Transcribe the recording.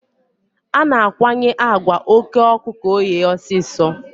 A na-akwanye àgwà oké ọkụ ka ọ ghee ọsịsọ.